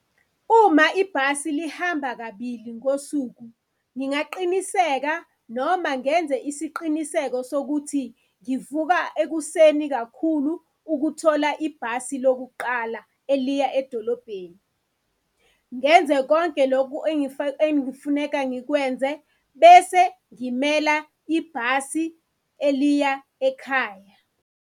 Uma ibhasi lihamba kabili ngosuku, ngingaqiniseka noma ngenze isiqiniseko sokuthi ngivuka ekuseni kakhulu ukuthola ibhasi lokuqala eliya edolobheni. Ngenze konke loku engifuneka ngikwenze, bese ngimela ibhasi eliya ekhaya.